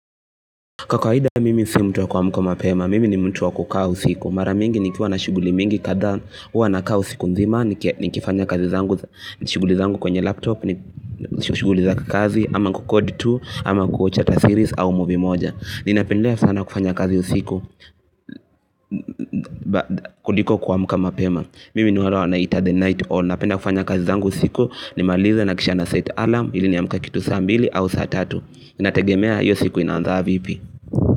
Kwa kawaida mimi si mtu wa kuamka mapema, mimi ni mtu wa kukaa usiku, mara mingi nikiwa na shughuli mingi kadhaa huwa nakaa usiku nzima, nikifanya kazi zangu, ni shughuli zangu kwenye laptop, ni shughuli za kikazi, ama kukodi tu, ama kuwatch ata series, au movie moja. Ninapendelea sana kufanya kazi usiku, kuliko kuamka mapema. Mimi ni wale wanaita the night owl, napenda kufanya kazi zangu usiku, nimalize na kisha naset alarm, ili niamke kitu saa mbili au saa tatu. Ninategemea hiyo siku inanzaa vipi.